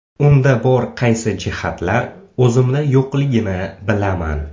Unda bor qaysi jihatlar o‘zimda yo‘qligini bilaman.